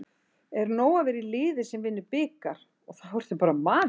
Er nóg að vera í liði sem vinnur bikar og þá ertu bara maðurinn?